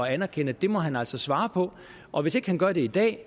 at anerkende at det må han altså svare på og hvis ikke han gør det i dag